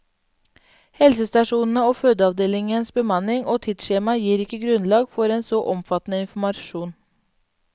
Helsestasjonene og fødeavdelingenes bemanning og tidsskjema gir ikke grunnlag for en så omfattende informasjon.